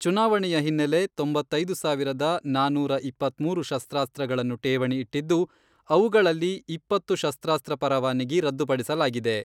ಚುನಾವಣೆಯ ಹಿನ್ನೆಲೆ, ತೊಂಬತ್ತೈದು ಸಾವಿರದ ನಾನೂರ ಇಪ್ಪತ್ಮೂರು ಶಸ್ತ್ರಾಸ್ತ್ರಗಳನ್ನು ಠೇವಣಿ ಇಟ್ಟಿದ್ದು, ಅವುಗಳಲ್ಲಿ ಇಪ್ಪತ್ತು ಶಸ್ತ್ರಾಸ್ತ್ರ ಪರವಾನಗಿ ರದ್ದುಪಡಿಸಲಾಗಿದೆ.